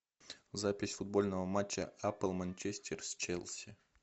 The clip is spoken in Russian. запись футбольного матча апл манчестер с челси